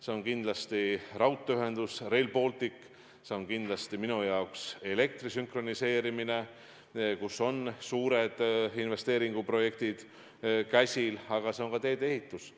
See on kindlasti raudteeühendus Rail Baltic, see on kindlasti elektrisüsteemi sünkroniseerimine, kus on suured investeeringuprojektid käsil, aga see on ka tee-ehitus.